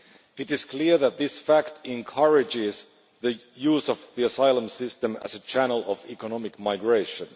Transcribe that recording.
It is clear that this fact encourages the use of the asylum system as a channel of economic migration.